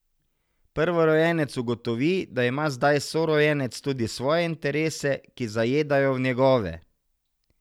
Prvorojenec ugotovi, da ima zdaj sorojenec tudi svoje interese, ki zajedajo v njegove.